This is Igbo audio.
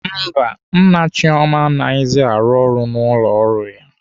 Mba, Nna Chioma anaghịzi arụ ọrụ n'ụlọ ọrụ ya.